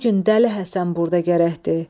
Bu gün Dəli Həsən burda gərəkdir.